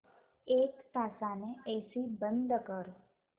एक तासाने एसी बंद कर